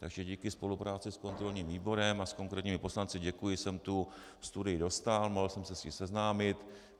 Takže díky spolupráci s kontrolním výborem a s konkrétními poslanci - děkuji - jsem tu studii dostal, mohl jsem se s ní seznámit.